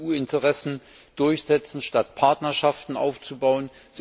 Sie wollen EU Interessen durchsetzen, statt Partnerschaften aufzubauen.